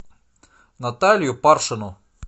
наталью паршину